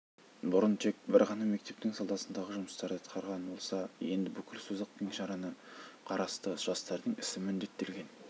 бұрын тек бір ғана мектептің саласындағы жұмыстарды атқарған болса енді бүкіл созақ кеңшарына қарасты жастардың ісі міндеттелген